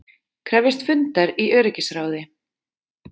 Krefjast fundar í öryggisráði